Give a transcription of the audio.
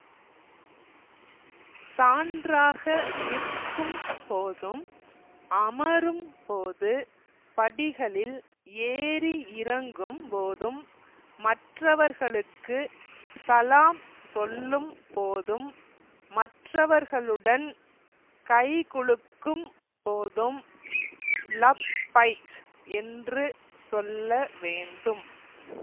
சான்றாக நிற்கும் போதும் அமரும் போது படிகளில் ஏறி இறங்கும் போதும் மற்றவர்களுக்கு சலாம் சொல்லும் போதும் மற்றவர்களுடன் கைகுலுக்கும் போதும் லப்பைக் என்று சொல்ல வேண்டும்